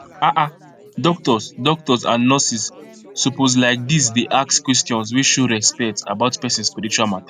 ah ah doctors doctors and nurses suppose like this dey ask questions wey show respect about person spiritual matter